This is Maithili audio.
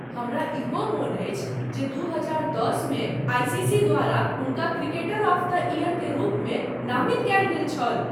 हमरा इहो मोन अछि जे दू हजार दश मे आईसीसी द्वारा हुनका 'क्रिकेटर ऑफ द ईयर' के रूपमे नामित कयल गेल छल।